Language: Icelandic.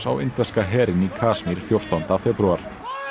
á indverska herinn í Kasmír fjórtánda febrúar